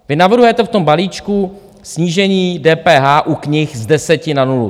Vy navrhujete v tom balíčku snížení DPH u knih z deseti na nulu.